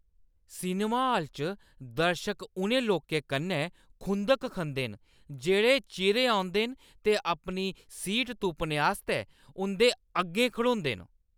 Cinema hall च दर्शक उ'नें लोकें कन्नै खुंधक खंदे न जेह्ड़े चिरें औदे न ते अपनी सीट तुप्पने आस्तै उं'दे अग्गें खड़ोदे न।